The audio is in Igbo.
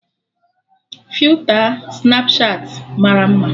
Filta Snapchatị mara mma